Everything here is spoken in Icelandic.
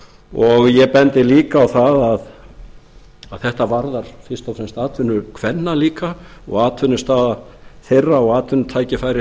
og ég bendi líka á það að þetta varðar fyrst og fremst atvinnu kvenna líka og atvinnustaða þeirra og atvinnutækifæri